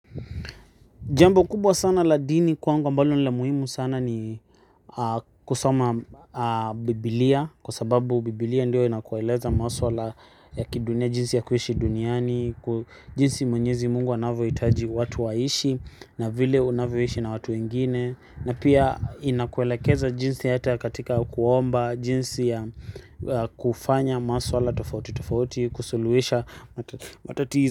Jambo kubwa sana la dini kwanga ambalo nila muhimu sana ni kusoma bibilia. Kwa sababu bibilia ndio inakueleza maswala ya kidunia jinsi ya kuishi duniani. Jinsi mwenyezi Mungu anavyo hitaji watu waishi na vile unavyo ishi na watu wengine. Na pia inakuelekeza jinsi ya katika kuomba jinsi ya kufanya maswala tofauti tofauti kusuluhisha matatizo.